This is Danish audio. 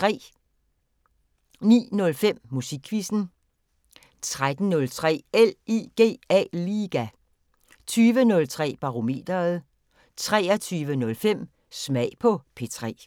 09:05: Musikquizzen 13:03: LIGA 20:03: Barometeret 23:05: Smag på P3